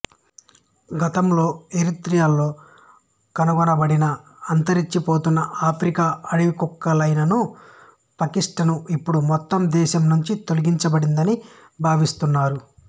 గతంలో ఎరిత్రియాలో కనుగొనబడిన అంతరించిపోతున్న ఆఫ్రికా అడవి కుక్క లైకాను పిక్టసు ఇప్పుడు మొత్తం దేశం నుంచి తొలగించబడిందని భావిస్తున్నారు